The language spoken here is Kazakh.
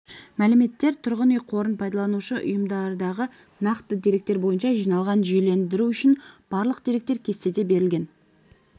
мәліметтер тұрғын үй қорын пайдаланушы ұйымдардағы нақты деректер бойынша жиналған жүйелендіру үшін барлық деректер кестеде берілген